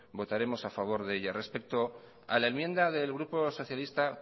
votaremos a favor de ella respecto a la enmienda del grupo socialista